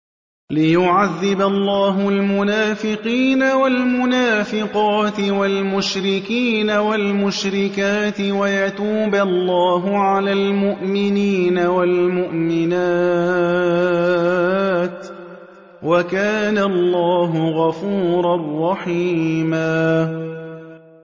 لِّيُعَذِّبَ اللَّهُ الْمُنَافِقِينَ وَالْمُنَافِقَاتِ وَالْمُشْرِكِينَ وَالْمُشْرِكَاتِ وَيَتُوبَ اللَّهُ عَلَى الْمُؤْمِنِينَ وَالْمُؤْمِنَاتِ ۗ وَكَانَ اللَّهُ غَفُورًا رَّحِيمًا